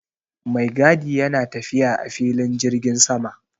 Maigadi yana tafiya a filin jirgin sama